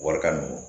Walikan nunnu